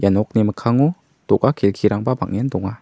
ia nokni mikkango do·ga kelkirangba bang·en donga.